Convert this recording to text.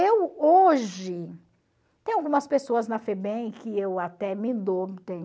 Eu, hoje, tem algumas pessoas na Febem que eu até me dou